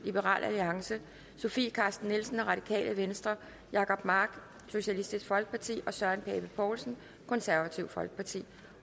sofie carsten nielsen jacob mark og søren pape poulsen